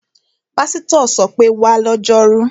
Pásítọ̀ ṣọ pé, 'wá lọ́jọ́rú!'